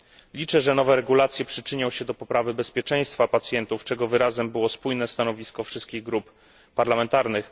Liczę, że nowe regulacje przyczynią się do poprawy bezpieczeństwa pacjentów, czego wyrazem było spójne stanowisko wszystkich grup parlamentarnych.